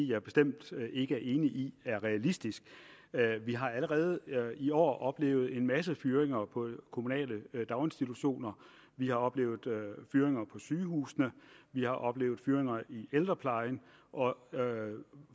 jeg bestemt ikke er enig i er realistisk vi har allerede i år oplevet en masse fyringer på de kommunale daginstitutioner vi har oplevet fyringer på sygehusene vi har oplevet fyringer i ældreplejen